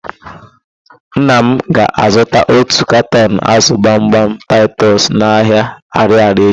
Nna m ga-azụta otu katọn ázụ̀ gbamgbam taịtọs n'ahịa Arịarịa echi.